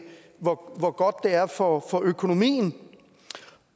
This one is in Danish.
hvor hvor godt det er for for økonomien